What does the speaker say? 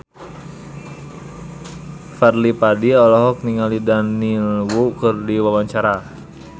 Fadly Padi olohok ningali Daniel Wu keur diwawancara